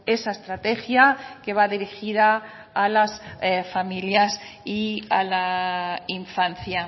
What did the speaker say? esa estrategia que va dirigida a las familias y a la infancia